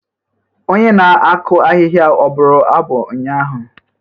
Onye na-akụ ahịhịa ọ bụrụ abụ ụnyaahụ?